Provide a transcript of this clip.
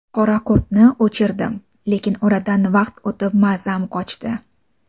Qoraqurtni o‘ldirdim, lekin oradan vaqt o‘tib mazam qochdi.